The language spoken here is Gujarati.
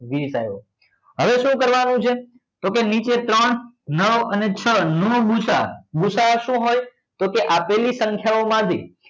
વીસ આયો હવે સુ કરવા નું છે તો કે નીચે ત્રણ નવ અને છ નો ગુસા ગુસા સુ હોય તો કે આપેલી સંખ્યા ઓ માંથી